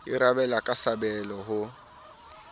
e rabella ka sabole ho